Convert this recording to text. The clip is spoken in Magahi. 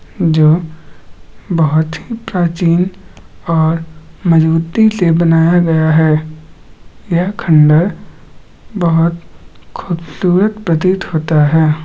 जो बहुत ही प्राचीन और मजबूती से बनाया गया है यह खंडर बहुत खुबसुरत प्रतीत होता है ।